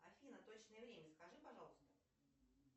афина точное время скажи пожалуйста